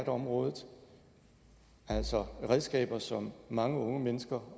området altså redskaber som mange unge mennesker